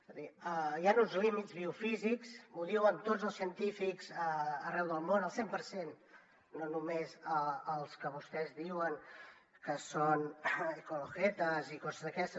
és a dir hi han uns límits biofísics ho diuen tots els científics arreu del món el cent per cent no només els que vostès diuen que són ecolojetas i coses d’aquestes